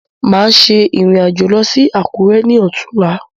Máa ṣe ìrìn-àjò lọ sí àkùrẹ́ ni otun là